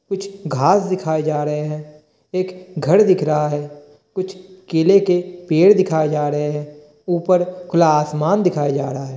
कुछ घास दिखाऐ जा रहे है। एक घर दिख रहा है। कुछ केले के पेड़ दिखाऐ जा रहे है। उपर खुला आसमान दिखाया जा रहा है।